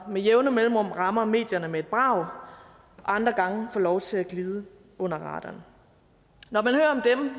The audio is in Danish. med jævne mellemrum rammer medierne med et brag og andre gange får lov til at glide under radaren